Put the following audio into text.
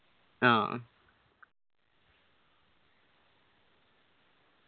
ആ